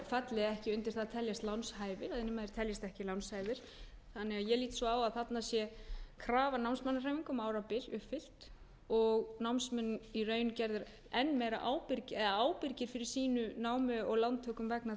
falli þá ekki undir það að teljast lánshæfir ef menn teljast ekki lánshæfir þannig að ég lít svo á að þarna sé krafa námsmannahreyfinga um árabil uppfyllt og námsmenn í raun gerðir meira ábyrgir fyrir sínu láni og lántökum vegna